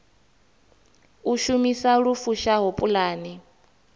u shumisa lu fushaho pulane